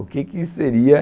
O que que seria?